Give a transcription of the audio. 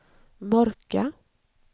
mörka